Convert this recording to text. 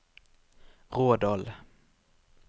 Rådal